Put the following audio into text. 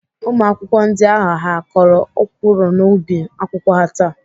Ụmụakwụkwọ ndị ahụ ha kọrọ ọkwụrụ n'ubi akwụkwọ ha taa?